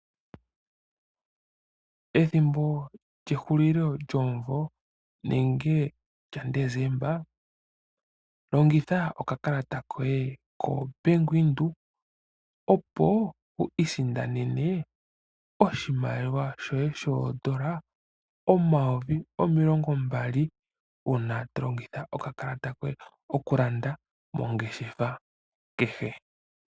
Ethimbo lyehulilo lyomuvo lyaDesemba longitha okakalata koye yaBank Windhoek opo wu isindanene oshimaliwa shoye shoN$ 20 000 uuna tolongitha okakalata koye okulanda mongeshefa kehe.